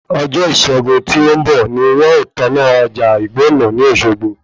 Ọjọ́ Iṣẹ́gun tí ó ń bọ̀ ni wọn o tó ná ọjà ìgbọ̀nà ní Òsogbo